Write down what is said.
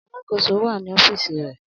Aláàkòso wa ni ọfiisi rẹ.